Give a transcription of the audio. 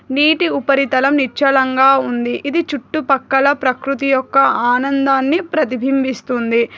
నీటి ఉపరితలం నిచ్చలంగా ఉంది ఇది చుట్టూపక్కల ప్రకృతి యొక్క ఆనందాన్ని ప్రతిబింభిస్తుంది.